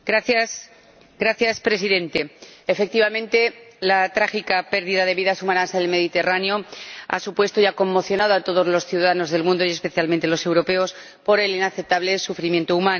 Señor Presidente, efectivamente, la trágica pérdida de vidas humanas en el Mediterráneo ha conmocionado a todos los ciudadanos del mundo, y especialmente los europeos, por el inaceptable sufrimiento humano.